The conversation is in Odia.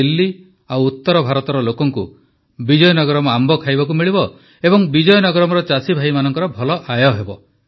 ଦିଲ୍ଲୀ ଓ ଉତ୍ତର ଭାରତର ଲୋକଙ୍କୁ ବିଜୟନଗରମ ଆମ୍ବ ଖାଇବାକୁ ମିଳିବ ଓ ବିଜୟନଗରମର ଚାଷୀମାନଙ୍କର ଭଲ ଆୟ ହେବ